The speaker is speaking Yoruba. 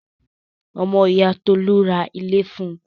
Ọmọ ìyá Tolú ra ilé fun.